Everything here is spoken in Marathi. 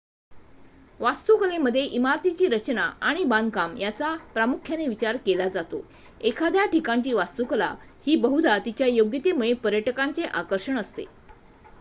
वास्तुकलेमध्ये इमारतीची रचना आणि बांधकाम याचा प्रामुख्याने विचार केला जातो एखाद्या ठिकाणची वास्तुकला ही बहुदा तिच्या योग्यतेमुळे पर्यटकांचे आकर्षण असते